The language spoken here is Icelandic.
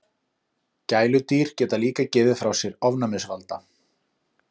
Gæludýr geta líka gefið frá sér ofnæmisvalda.